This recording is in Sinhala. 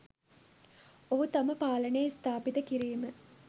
ඔහු තම පාලනය ස්ථාපිත කිරිම